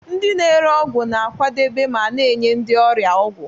Ndị na-ere ọgwụ na-akwadebe ma na-enye ndị ọrịa ọgwụ.